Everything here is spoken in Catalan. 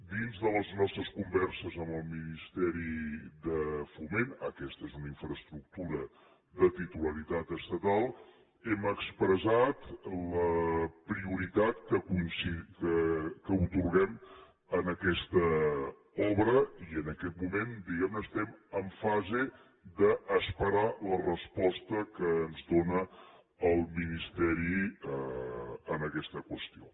dins de les nostres converses amb el ministeri de foment aquesta és una infraestructura de titularitat estatal hem expressat la prioritat que atorguem a aquesta obra i en aquest moment diguem ne estem en fase d’esperar la resposta que ens dóna el ministeri en aquesta qüestió